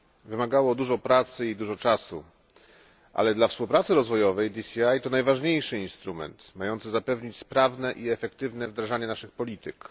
Wymagało dużo pracy i dużo czasu. Ale dla współpracy rozwojowej DCI to najważniejszy instrument mający zapewnić sprawne i efektywne wdrażanie naszych polityk.